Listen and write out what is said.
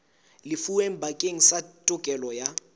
lefuweng bakeng sa tokelo ya